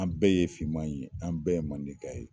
An bɛɛ ye finmaye ye an bɛɛ ye mandenka ye.